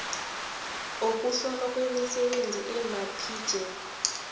wokuhlolwa kwemisebenzi amapjec